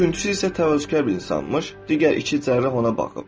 Üçüncüsü isə təvazökar bir insanmış, digər iki cərrah ona baxıb.